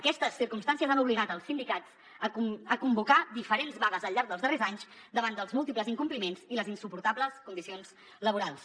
aquestes circumstàncies han obligat els sindicats a convocar diferents vagues al llarg dels darrers anys davant dels múltiples incompliments i les insuportables condicions laborals